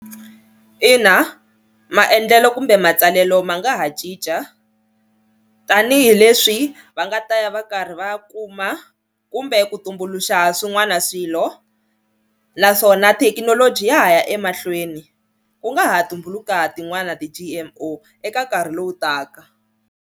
Ina maendlelo kumbe matsalelo ma nga ha cinca tanihileswi va nga ta ya va karhi va kuma kumbe ku tumbuluxa swin'wana swilo naswona thekinoloji ya ha ya emahlweni ku nga ha tumbuluka tin'wana ti-G_M_O eka nkarhi lowu taka.